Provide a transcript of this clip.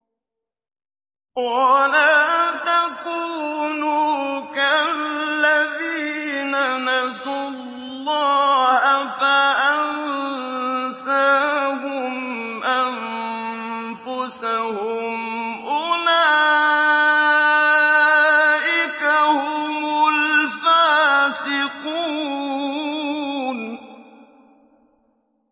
وَلَا تَكُونُوا كَالَّذِينَ نَسُوا اللَّهَ فَأَنسَاهُمْ أَنفُسَهُمْ ۚ أُولَٰئِكَ هُمُ الْفَاسِقُونَ